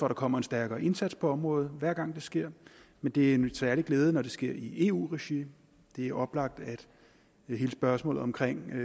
der kommer en stærkere indsats på området hver gang det sker men det er en særlig glæde når det sker i eu regi det er oplagt at hele spørgsmålet omkring